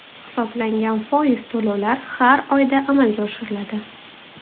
Hisoblangan foiz to‘lovlar har oyda amalga oshiriladi.